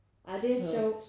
Ah det er sjovt